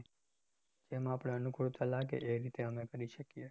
જેમ આપણે અનુકુળતા લાગે એ રીતે અમે કરી શકીએ